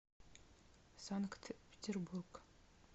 санкт петербург